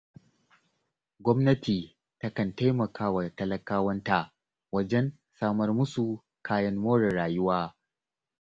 Gwamnati takan taimaka wa talakawanta wajen samar musu kayan more rayuwa.